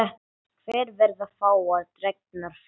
Hér verða fáar dregnar fram.